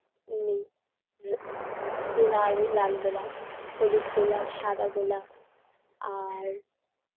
এ লাল লাল গোলাপ হলুদ গোলাপ সাদা গোলাপ আর